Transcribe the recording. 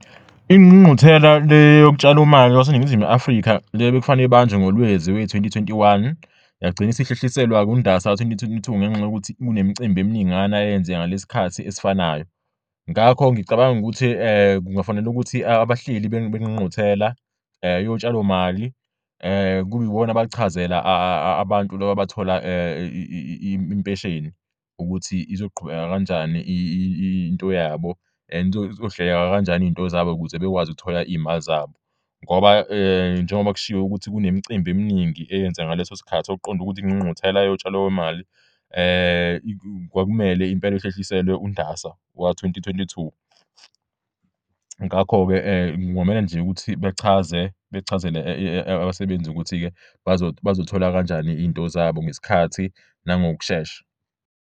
Ingqungquthela yesine Yotshalomali lwaseNingizimu Afrika ibizobanjwa ngoLwezi kowezi2021, kodwa sibe sesinquma ukuyihlehlisela kuNdasa 2022 ngenxa yeminye imicimbi eminingana eyenzeka ngalesi sikhathi esifanayo.